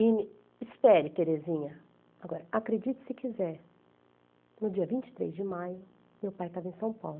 E me disse, espere Terezinha, agora, acredite se quiser, no dia vinte e três de maio, meu pai estava em São Paulo.